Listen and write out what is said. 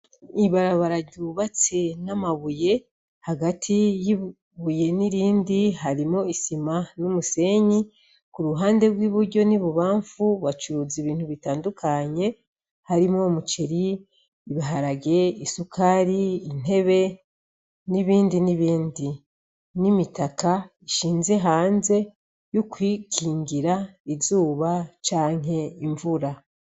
Ibarabara ryubatse n'amabuye, hagati y'ibuye n'irindi harimwo isima n'umusenyi, k'uruhande rw'iburyo n'ibubamfu bacuruza ibintu bitandukanye, harimwo umuceri, ibiharage, Isukari, intebe, n'ibindi n'ibindi, n'imitaka ishinze hanze yokwikingira izuba canke imvura.